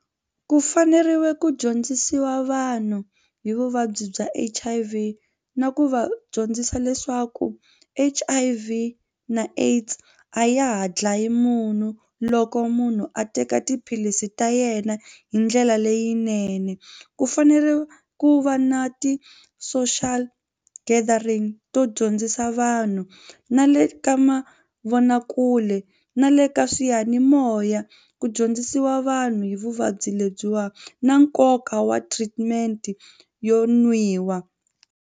Ku faneriwile ku dyondzisiwa vanhu hi vuvabyi bya H_I_V na ku va dyondzisa leswaku H_I_V na AIDS a ya ha dlaya munhu loko munhu a teka tiphilisi ta yena hi ndlela leyinene. Ku fanele ku va na ti-social gathering to dyondzisa vanhu na le ka mavonakule na le ka swiyanimoya ku dyondzisiwa vanhu hi vuvabyi lebyiwani na nkoka wa treatment yo nwiwa.